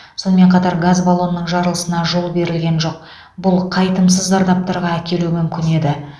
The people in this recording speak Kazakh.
сонымен қатар газ баллонының жарылысына жол берілген жоқ бұл қайтымсыз зардаптарға әкелуі мүмкін еді